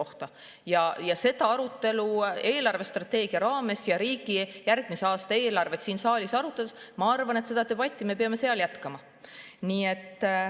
Ma arvan, et seda arutelu peame me riigi eelarvestrateegia raames ja järgmise aasta eelarvet siin saalis arutades jätkama.